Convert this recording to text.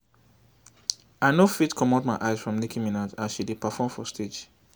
i no fit comot my eyes from nicki minaj as she dey perform for stage